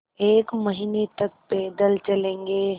एक महीने तक पैदल चलेंगे